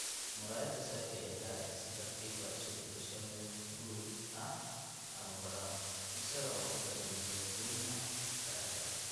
Muraayada saafiga ah ayaa si tartiib tartiib ah isu beddesha midab huruud ah/brown, isaga oo ku daraya midab bunni ah aragga.